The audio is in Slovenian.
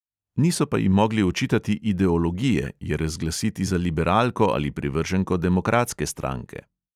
Niso pa ji mogli očitati ideologije, je razglasiti za liberalko ali privrženko demokratske stranke.